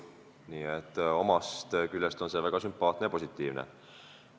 Nii et ühest küljest on see väga sümpaatne ja positiivne.